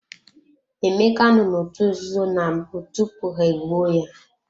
Emeka no n'otu nzuzo na mbụ tupu ha-egbuo ya.